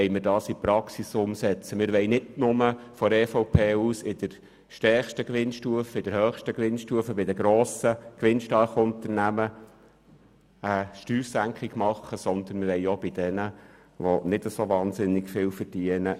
Das wollen wir hier in die Praxis umsetzen, indem wir vonseiten der EVP nicht nur in der höchsten Gewinnstufe bei den grossen, gewinnstarken Unternehmen eine Steuersenkung vornehmen möchten, sondern auch bei denjenigen, die etwas tun, aber dabei nicht wahnsinnig viel verdienen.